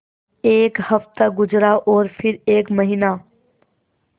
एक हफ़्ता गुज़रा और फिर एक महीना